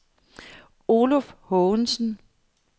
Oluf Haagensen